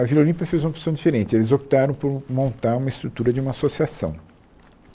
A Vila Olímpia fez uma opção diferente, eles optaram por montar uma estrutura de uma associação.